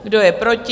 Kdo je proti?